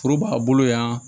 Foro b'a bolo yan